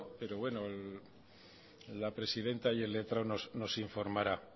pero bueno la presidenta y el letrado nos informarán